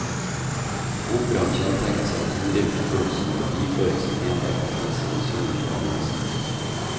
Operaen kjennetegnes av en henrivende puls og en melodiføring som enhver komponist må misunne den gamle mester.